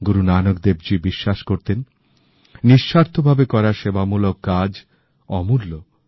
গুরু নানক দেবজী বিশ্বাস করতেন নিঃস্বার্থভাবে করা সেবামূলক কাজ অমূল্য